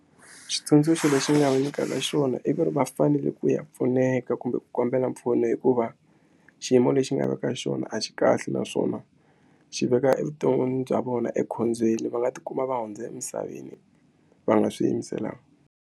Xitsundzuxo lexi ni nga va nyikaka xona i ku ri va fanele ku ya pfuneka kumbe ku kombela mpfuno hikuva xiyimo lexi nga le ka xona a xi kahle naswona xi veka evuton'wini bya vona ekhombyeni va nga tikuma va hundza emisaveni va nga swi yimiselanga.